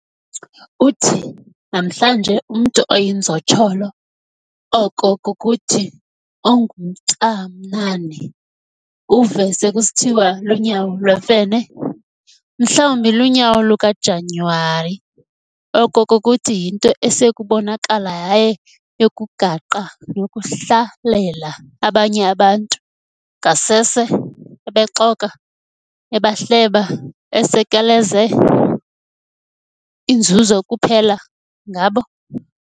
Uthi namhlanje umntu oyinzotsholo, oko kukuthi, onguntamnani, uve sekusithiwa, "Lunyawo lwemfene", mhlawumbi lunyawo luka-Janyuwali, oko kukuthi yinto esekubonakala yayo yokugaqa nokuhlalela abanye abantu, ngasese ebexoka, ebahleba, esekeleze inzuzo kuphela ngabo.